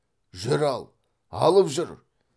жүр ал алып жүр